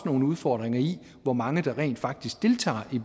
nogle udfordringer i hvor mange der rent faktisk deltager i